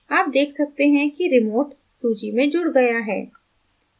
आप देख सकते हैं कि remote सूची में जुड़ गया है